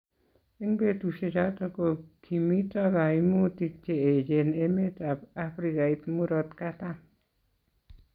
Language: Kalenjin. eng' betusiechoto ko kimito kaimutik che echen emetab Afrikait murot katam